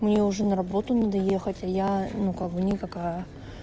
мне уже на работу надо ехать я ну как бы никакая